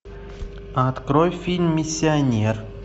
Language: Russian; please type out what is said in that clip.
открой фильм миссионер